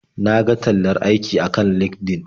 Na ga tallar aiki akan LinkedIn.